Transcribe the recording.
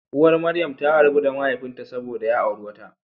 Uwar Maryam ta rabu da mahaifinta saboda ya auri wata.